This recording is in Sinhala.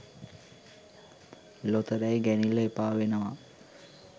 ලොතරැයි ගැනිල්ල එපා වෙනවා